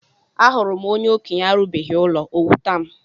Ahụrụ m onye okenye arubeghi ụlọ o wutam